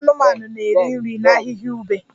Ụmụ anụmanụ na-eri nri na ahịhịa ube